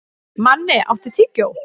Manni, áttu tyggjó?